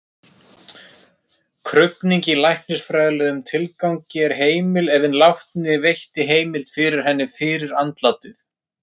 Krufning í læknisfræðilegum tilgangi er heimil ef hinn látni veitti heimild fyrir henni fyrir andlátið.